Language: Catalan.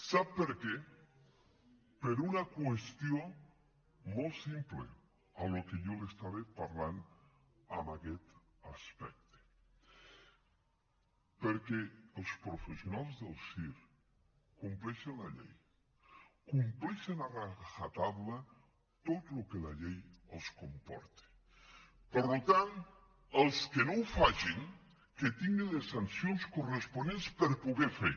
sap per què per una qüestió molt simple del que jo li estava parlant en aquest aspecte perquè els professionals del circ compleixen la llei compleixen a rajatablaels que no ho facin que tinguin les sancions corresponents per poder fer